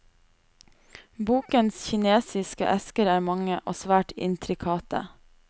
Bokens kinesiske esker er mange, og svært intrikate.